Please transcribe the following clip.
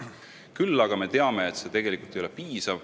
Aga muidugi me teame, et sellest tegelikult ei piisa.